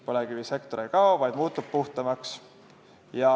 Põlevkivisektor ei kao, vaid muutub puhtamaks.